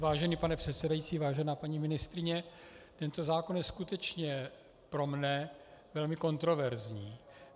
Vážený pane předsedající, vážená paní ministryně, tento zákon je skutečně pro mne velmi kontroverzní.